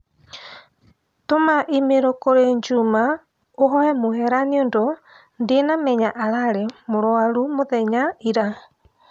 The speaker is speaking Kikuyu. Tũma i-mīrū kũrĩ Njuma ũhoe mũhera nĩũndũ ndĩnamenya ararĩ mũrwarũ mũthenya ĩra